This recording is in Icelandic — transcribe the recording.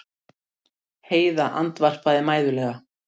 Heiða andvarpaði mæðulega.